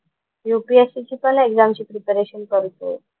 UPSC ची पण एक्झामची प्रिपरेशन करतोय.